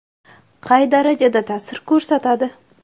Qay darajada ta’sir ko‘rsatadi?